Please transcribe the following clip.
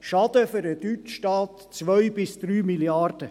Der Schaden für den deutschen Staat: 2 bis 3 Milliarden.